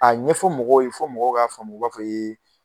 A ɲɛfɔ mɔgɔw ye fo mɔgɔw k'a faamu u b'a fɔ